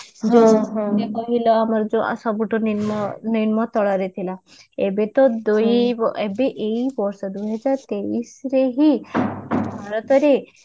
ସବୁଠୁ ନିମ୍ନ ନିମ୍ନ ତଳରେ ଥିଲା ଏବେ ତ ଦୁଇ ଏବେ ଏଇ ବର୍ଷରୁ ହିଁ ଦୁଇ ହଜାର ତେଇଶ ରେ ହିଁ ଭାରତ ରେ